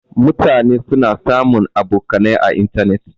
Mutane suna sabon abokanai à intanet.